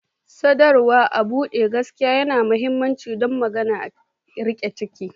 Sadarwa a buɗe da gaskiya yana da mahimmanci don magance rikici.